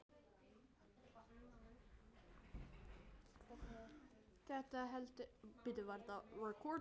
Þetta heldur ekki vatni.